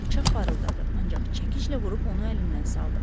Bıçaq parıldadı, ancaq çəkiclə vurub onu əlindən saldım.